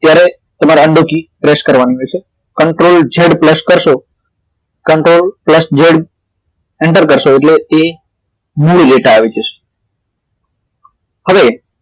તમારે undo key press કરવાની હોય છે ctrl z plus કરશો ctrl plus z enter કરશો એટલે એ મૂળ ડેટા આવી જશે હવે